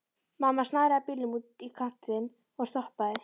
Mamma snaraði bílnum út í kantinn og stoppaði.